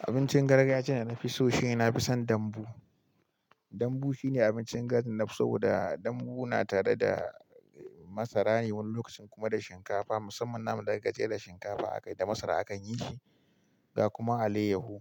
Abincin gargajiya da na fi so, shine na fi son dambu. Dambu shine abincin gidan da nafi so, da dambu na tare da masara ne wani lokacin kuma da shinkafa. Musamman naman, da ka jera shinkafa aka da masara akan yi shi, ga kuma alayyahu